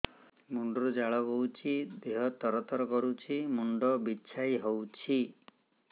ମୁଣ୍ଡ ରୁ ଝାଳ ବହୁଛି ଦେହ ତର ତର କରୁଛି ମୁଣ୍ଡ ବିଞ୍ଛାଇ ହଉଛି